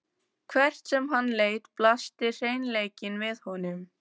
Hvert sem hann leit blasti hreinleikinn við honum.